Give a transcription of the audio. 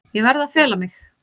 Ég verð að fela mig.